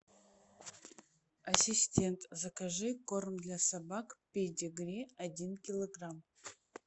ассистент закажи корм для собак педигри один килограмм